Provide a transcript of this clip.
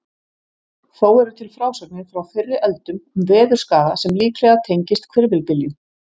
Þó eru til frásagnir frá fyrri öldum um veðurskaða sem líklega tengist hvirfilbyljum.